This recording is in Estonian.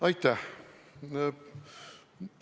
Aitäh!